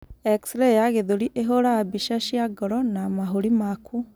Xray ya gĩthũri ĩhũũraga mbica cia ngoro na mahũri maku.